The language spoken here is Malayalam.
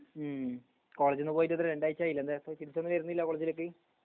ഉം കോളേജ് ന്ന് പോയിട്ട് എത്രെ രണ്ടാഴ്ചയിലെ എന്താ ഇപ്പൊ തിരിച്ചൊന്നും വരുന്നില്ല കോളേജ് ലേക്ക്